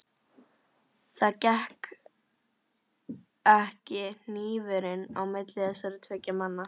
Það gekk ekki hnífurinn á milli þessara tveggja manna.